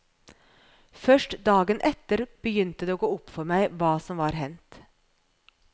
Først dagen etter begynte det å gå opp for meg hva som var hendt.